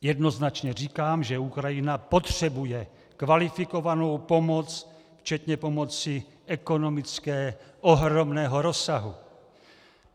Jednoznačně říkám, že Ukrajina potřebuje kvalifikovanou pomoc včetně pomoci ekonomické ohromného rozsahu.